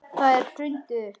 Þeim er hrundið upp.